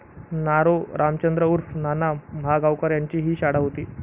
नारो रामचंद्र उर्फ नाना महागावकर यांची ही शाळा होती.